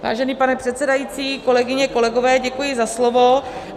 Vážený pane předsedající, kolegyně, kolegové, děkuji za slovo.